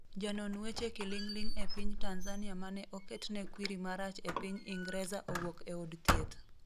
janon weche kiling'ling e piny Tanzania mane oketne kwiri marach e piny Ingreza owuok e od thieth